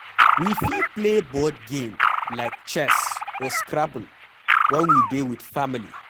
We fit play board game like chess or scrabble when we dey with family